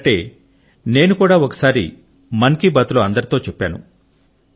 మీరు అన్నట్టే నేను కూడా ఒకసారిమన్ కి బాత్ లో అందరితో చెప్పాను